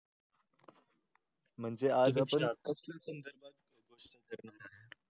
म्हणजे आज आपण